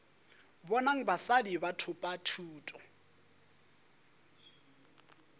bonang basadi ba thopa thuto